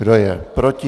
Kdo je proti?